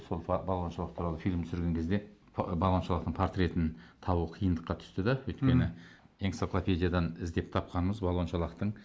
сол балуан шолақ туралы фильм түсірген кезде балуан шолақтың портретін табу қиындыққа түсті де өйткені энциклопедиядан іздеп тапқанымыз балуан шолақтың